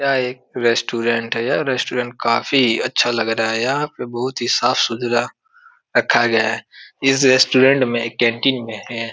यह एक रेस्टोरेंट है। यह रेस्टोरेंट काफी अच्छा लग रहा है। यहाँ पर बहुत ही साफ़ सुथरा रखा गया है। इस रेस्टोरेंट में कैंटीन में है।